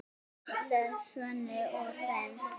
les Svenni úr þeim.